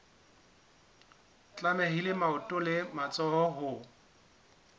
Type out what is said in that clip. tlamehile maoto le matsoho ho